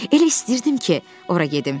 Elə istəyirdim ki, ora gedim.